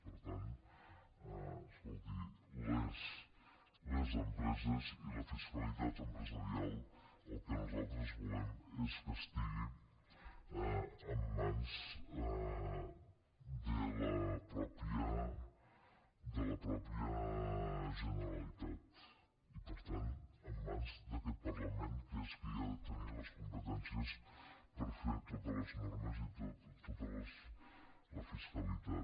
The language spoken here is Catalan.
per tant escolti les empreses i la fiscalitat empresarial el que nosaltres volem és que estiguin en mans de la mateixa generalitat i per tant en mans d’aquest parlament que és qui ha de tenir les competències per fer totes les normes i tota la fiscalitat